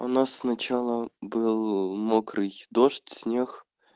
у нас сначала был мокрый дождь снег